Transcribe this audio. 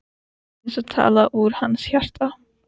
Eins og talað úr hans hjarta.